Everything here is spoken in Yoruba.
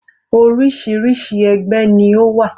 Orísirísi ẹgbẹ́ ni ó wà.